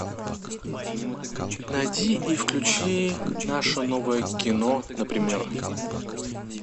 найди и включи наше новое кино например